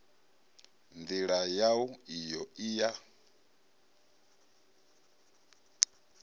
ndila yau iyo i ya